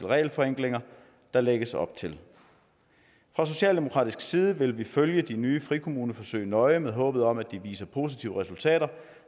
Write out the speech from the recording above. regelforenklinger der lægges op til fra socialdemokratisk side vil vi følge de nye frikommuneforsøg nøje med håbet om at de viser positive resultater